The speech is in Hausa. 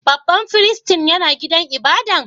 Babban firistin yana gidan ibada'n?